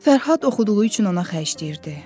Fərhad oxuduğu üçün ona xərcləyirdi.